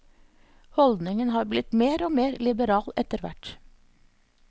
Holdningen har blitt mer og mer liberal etterhvert.